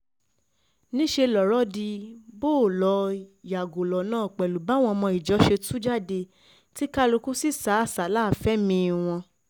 níṣẹ́ lọ̀rọ̀ di bó-o-lọ yàgò lọ́nà pẹ̀lú báwọn ọmọ ìjọ ṣe tú jáde tí kálukú sì sá àsálà fẹ́mi-ín wọn